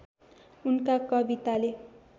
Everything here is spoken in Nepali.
उनका कविताले